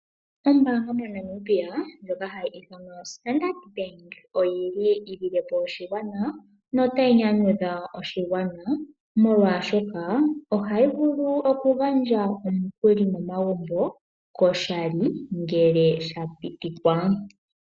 Ombaanga mo Namibia ndjoka hayi ithanwa Standard Bank oyili yi lile po oshigwana nota yi nyanyudha oshigwana, molwaashoka ohayi vulu oku gandja omukuli mo magumbo koshali ngele sha pitikwa.